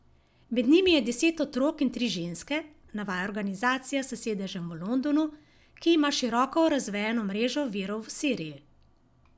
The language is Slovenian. Med njimi je deset otrok in tri ženske, navaja organizacija s sedežem v Londonu, ki ima široko razvejano mrežo virov v Siriji.